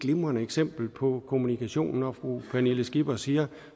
glimrende eksempel på kommunikation når fru pernille skipper siger